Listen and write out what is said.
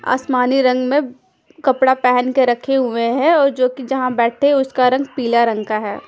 आसमानी रंग में उम कपड़ा पहन के रखे हुए हैं और जोकि जहाँ बेठते हैं उसका रंग पिला रंग का है।